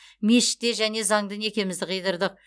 мешітте және заңды некемізді қидырдық